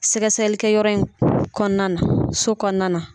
Sɛgɛsɛgɛlikɛyɔrɔ in kɔnɔna na so kɔnɔna na.